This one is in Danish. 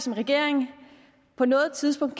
en regering på noget tidspunkt